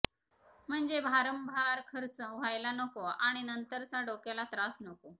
म्हणजे भारंभार खर्च व्हायला नको आणि नंतरचा डोक्याला त्रास नको